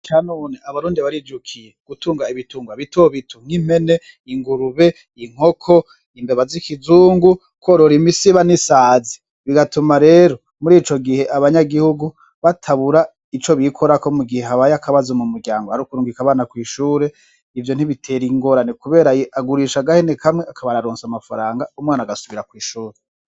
Aha none abarundi barivyukiye, gutunga ibitunga bitobito nk'impene, ingurube, inkoko, imbeba z'ikizungu, korora imisiba n'isazi, bigatuma rero muri ico gihe abanyagihugu batabura ico bikorako mu gihe habaye akabazo mu muryango ari kurungika abana kw'ishure ivyo ntibitera ingorane kubera agurisha agahene kamwe akaba araronse amafaranga umwana agasubira kw'ishuri.